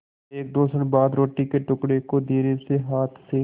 एकदो क्षण बाद रोटी के टुकड़े को धीरेसे हाथ से